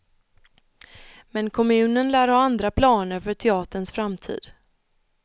Men kommunen lär ha andra planer för teaterns framtid.